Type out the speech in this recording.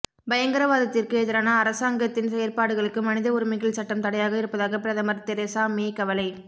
பயங்கரவாதத்திற்கு எதிரான அரசாங்கத்தின் செயற்பாடுகளுக்கு மனித உரிமைகள் சட்டம் தடையாக இருப்பதாக பிரதமர் தெரேசா மே கவலை